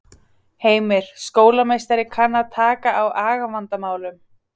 Heimir: Skólameistari kann að taka á agavandamálum?